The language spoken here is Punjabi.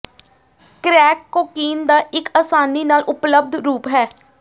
ਕ੍ਰੈਕ ਕੋਕੀਨ ਦਾ ਇੱਕ ਆਸਾਨੀ ਨਾਲ ਉਪਲਬਧ ਰੂਪ ਹੈ